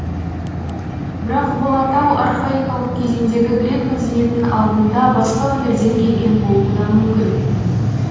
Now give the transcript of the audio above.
бірақ бұл атау архаикалық кезеңдегі грек мәдениетінің алдында басқа өңірден келген болуы да мүмкін